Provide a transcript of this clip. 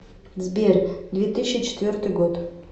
сбер две тыщи четвертый год